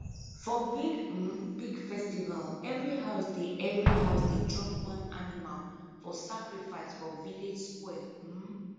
for big um big festival every house dey every house dey drop one animal for sacrifice for village square um